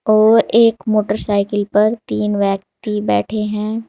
और एक मोटरसाइकिल पर तीन बैठे है।